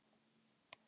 Hjörvar